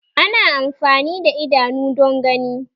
Ana amfani da idanu don gani